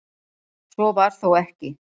Svo var þó ekki.